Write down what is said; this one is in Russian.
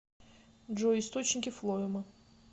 джой источники флоэма